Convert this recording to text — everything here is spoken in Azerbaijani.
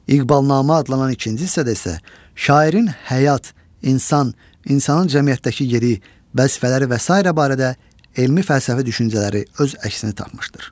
İqbalnamə adlanan ikinci hissədə isə şairin həyat, insan, insanın cəmiyyətdəki yeri, vəzifələri və sairə barədə elmi fəlsəfi düşüncələri öz əksini tapmışdır.